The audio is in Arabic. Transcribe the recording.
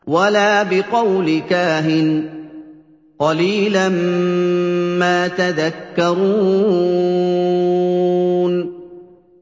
وَلَا بِقَوْلِ كَاهِنٍ ۚ قَلِيلًا مَّا تَذَكَّرُونَ